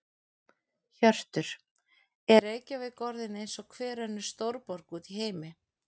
Hjörtur: Er Reykjavík orðin eins og hver önnur stórborg út í heimi?